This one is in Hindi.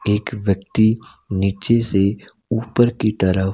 एक व्यक्ति नीचे से ऊपर की तरफ--